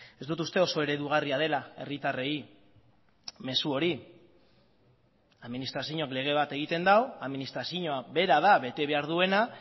ez dut uste oso eredugarria dela herritarrei mezu hori administrazioak lege bat egiten du administrazioa bera da bete behar duena